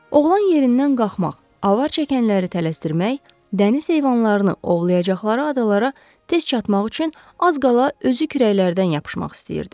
Oğlan yerindən qalxmaq, avar çəkənləri tələsdirmək, dəniz heyvanlarını ovlayacaqları adalara tez çatmaq üçün az qala özü kürəklərdən yapışmaq istəyirdi.